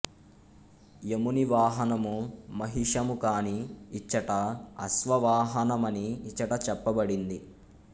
యముని వాహనము మహిషము కాని ఇచ్చట అశ్వవాహన మని ఇచట చెప్పబడింది